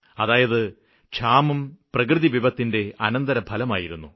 അതായത് ക്ഷാമം പ്രകൃതി വിപത്തിന്റെ അനന്തരഫലമായിരുന്നു